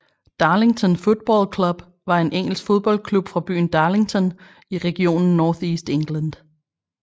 Darlington Football Club var en engelsk fodboldklub fra byen Darlington i regionen North East England